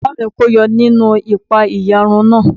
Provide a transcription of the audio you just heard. Bàbá mi kó yọ nínú ìpa-ẹ̀yà run náà.